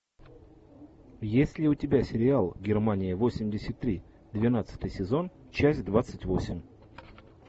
есть ли у тебя сериал германия восемьдесят три двенадцатый сезон часть двадцать восемь